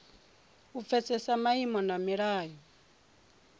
u pfesesa maimo na milayo